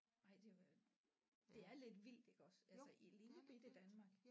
Ej det var det er lidt vildt iggås altså i lillebitte Danmark